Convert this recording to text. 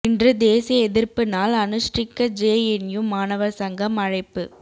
இன்று தேசிய எதிா்ப்பு நாள் அனுஷ்டிக்க ஜேஎன்யு மாணவா் சங்கம் அழைப்பு